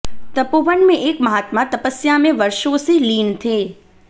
तपोवन में एक महात्मा तपस्या में वर्षों से लीन थे